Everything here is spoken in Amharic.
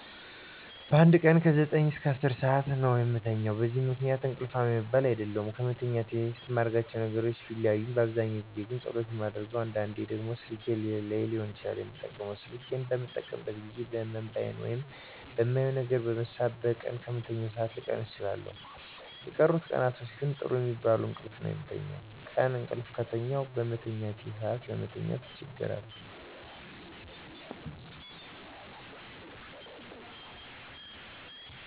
በአንድ ቀን ከ9-10 ሠአት ነው የምተኛው። በዚህ ምክንያት እንቅልፋም የምባል አይደለሁም። ከመተኛቴ በፊት ማረጋቸው ነገሮች ቢለያይም በአብዛኛው ጊዜ ግን ጸሎት ነው የማደርገው። አንዳንዴ ደግሞ ስልኬን ሊሆን ይችላል የምጠቀመው። ስልክ በምጠቀምባቸው ጊዜያት በህመም(በአይን) ወይም በማየው ነገር በመሳብ በቀን ከምተኛው ሠአት ልቀንስ እችላለሁ። የቀሩት ቀናቶች ግን ጥሩ የሚባል እንቅልፍ ነው የምተኛው። ቀን እቅልፍ ከተኛሁ በመተኛ ሰአቴ ለመተኛት አቸገራለሁ